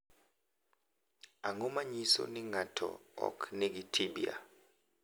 Ang’o ma nyiso ni ng’ato ok nigi Tibia?